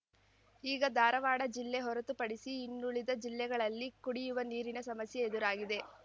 ಈಗ ಧಾರವಾಡ ಜಿಲ್ಲೆ ಹೊರತುಪಡಿಸಿ ಇನ್ನುಳಿದ ಜಿಲ್ಲೆಗಳಲ್ಲಿ ಕುಡಿಯುವ ನೀರಿನ ಸಮಸ್ಯೆ ಎದುರಾಗಿದೆ